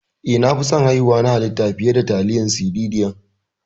Eh, na fi son haihuwa ta halitta fiye da tiyatar siseriyan.